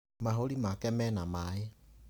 Mahũri make mena mai.